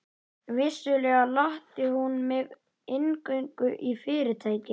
Vissulega latti hún mig inngöngu í Fyrirtækið.